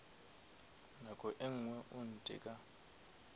nako e ngwe o ntheka